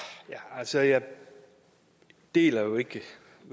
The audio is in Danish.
altså jeg deler jo ikke